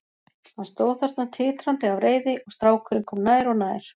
Hann stóð þarna titrandi af reiði og strákurinn kom nær og nær.